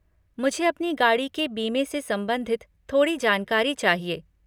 मुझे अपनी गाड़ी के बीमे से संबंधित थोड़ी जानकारी चाहिए।